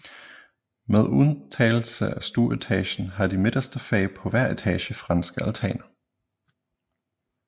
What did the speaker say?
Med undtagelse af stueetagen har de midterste fag på hver etage franske altaner